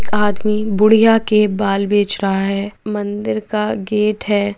एक आदमी बुढ़िया के बाल बेच रहा है मंदिर का गेट है।